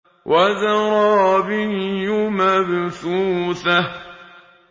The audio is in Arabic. وَزَرَابِيُّ مَبْثُوثَةٌ